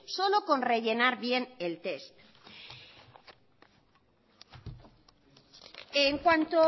solo con rellenar bien el test en cuanto